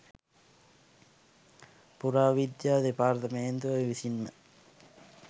පුරා විද්‍යා දෙපාර්තමේන්තුව විසින්ම